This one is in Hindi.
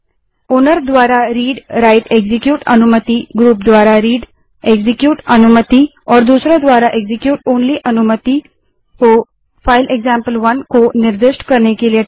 ओनर मालिक द्वारा readwriteएक्जीक्यूट अनुमतिग्रुप द्वारा readएक्जीक्यूट अनुमति और दूसरों द्वारा execute ओनली अनुमति को फाइल एक्जाम्पल1 को निर्दिष्ट करने के लिए